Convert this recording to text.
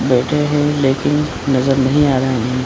बैठें हैं लेकिन नजर नहीं आ रहा हैं।